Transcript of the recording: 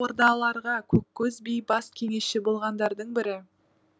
ордаларға көккөз би бас кеңесші болғандардың бірі